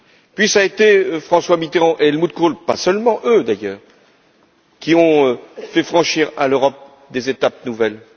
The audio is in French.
Puis, cela a été François Mitterrand et Helmut Kohl pas seulement eux d'ailleurs qui ont fait franchir à l'Europe des étapes nouvelles.